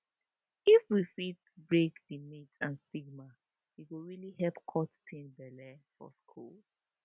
if we fit break di myths and stigma e go really help cut teen belle for schools